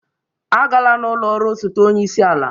Agala n'ụlọ ọrụ osote onye isi ala